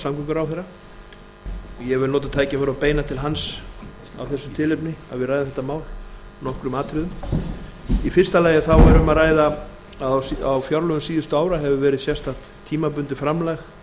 ég vil nota tækifærið og beina til hans af þessu tilefni að við ræðum þetta mál í nokkrum atriðum í fyrsta lagi þá er um að ræða að á fjárlögum síðustu ára hefur verið sérstakt tímabundið framlag